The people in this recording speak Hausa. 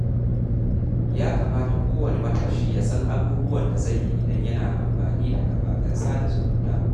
Ya kamata kowane matashi ya san abubuwan da zai yi idan yana amfani da kafafen sada zumunta.